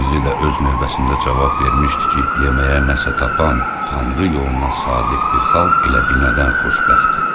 Çinli də öz növbəsində cavab vermişdi ki, yeməyə nəsə tapan, tanrı yoluna sadiq bir xalq elə binədən xoşbəxtdir.